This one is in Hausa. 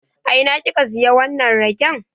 A ina ki ka siya wannan raken?